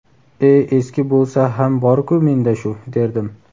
"E eski bo‘lsa ham borku menda shu" derdim.